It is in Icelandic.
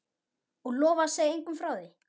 Og lofa að segja engum frá því?